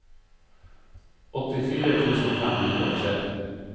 åttifire tusen fem hundre og tre